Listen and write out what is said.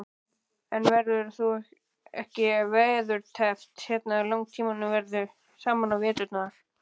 En verður þú ekki veðurteppt hérna langtímum saman á veturna?